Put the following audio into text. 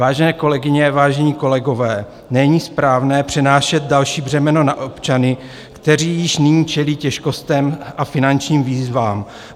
Vážené kolegyně, vážení kolegové, není správné přenášet další břemeno na občany, kteří již nyní čelí těžkostem a finančním výzvám.